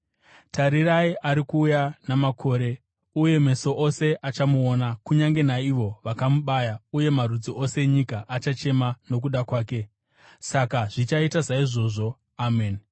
Tarirai, ari kuuya namakore, uye meso ose achamuona, kunyange naivo vakamubaya; uye marudzi ose enyika achachema nokuda kwake. Saka zvichaita saizvozvo! Ameni.